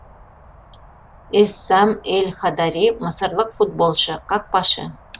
эссам эл хадари мысырлық футболшы қақпашы